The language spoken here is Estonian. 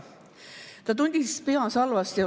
Ta tundis peas halba tunnet.